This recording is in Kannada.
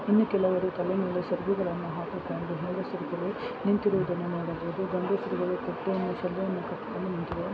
ಇನ್ನೂ ಕೆಲವರು ತಲೆ ಮೇಲೆ ಸೆರಗನ್ನ ಹಾಕಿಕೊಂಡು ಹೆಂಗಸರು ನಿಂತಿರುವುದನ್ನು ನಾವು ನೋಡಬಹುದು ಗಂಡಸರು ಬಟ್ಟೆ ಕಟ್ಟಿಯನ್ನು ತಲೆಯ ಮೇಲೆ ಇಟ್ಟುಕೊಂಡು ನಿಂತಿರುವುದನ್ನು ನಾವು ನೋಡಬಹುದು.